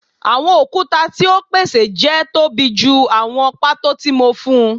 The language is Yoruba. Awọn okuta ti o pese jẹ tobi ju awọn pato ti mo fun